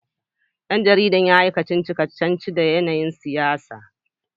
Dan jarida ya yi kacici-kacici da yanayin siyasa